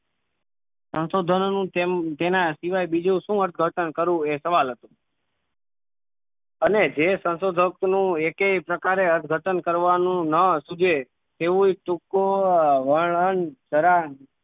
સંશોધનોનું તેન તેના સિવાય બીજું શું અર્થઘટન કરવું એ સવાલ હતો અને જે સંશોધક નું એકેય પ્રકારે અર્થઘટન કરવાનું ન સુજે તેવુંય ટૂંકુ વર્ણન જરા